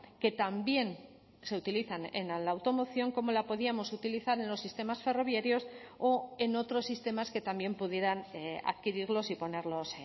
que también se utilizan en la automoción cómo la podíamos utilizar en los sistemas ferroviarios o en otros sistemas que también pudieran adquirirlos y ponerlos